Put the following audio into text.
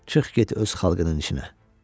Çıx get öz xalqının içinə.